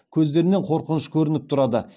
көздерінен қорқыныш көрініп тұрады